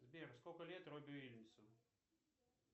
сбер сколько лет робби уильямсу